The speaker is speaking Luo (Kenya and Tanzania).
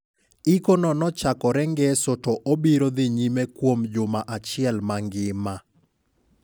Iko no nochakorengeso to obiro dhi nyime kuom juma achiel mangima.